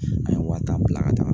A ye wa tan bila ka taaga